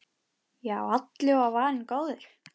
Já, allur var varinn góður!